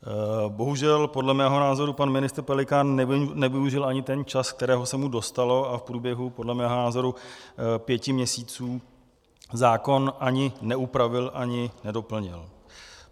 Bohužel, podle mého názoru pan ministr Pelikán nevyužil ani ten čas, kterého se mu dostalo, a v průběhu, podle mého názoru, pěti měsíců zákon ani neupravil, ani nedoplnil.